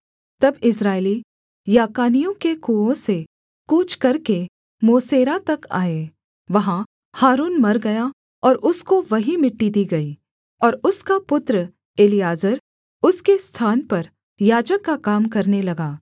तब इस्राएली याकानियों के कुओं से कूच करके मोसेरा तक आए वहाँ हारून मर गया और उसको वहीं मिट्टी दी गई और उसका पुत्र एलीआजर उसके स्थान पर याजक का काम करने लगा